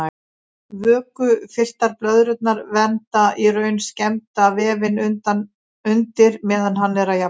Vökvafylltar blöðrurnar vernda í raun skemmda vefinn undir meðan hann er að jafna sig.